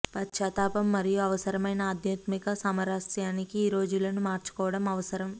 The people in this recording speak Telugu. పశ్చాత్తాపం మరియు అవసరమైన ఆధ్యాత్మిక సామరస్యానికి ఈ రోజులను మార్చుకోవడం అవసరం